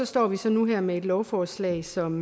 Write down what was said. står vi så nu her med et lovforslag som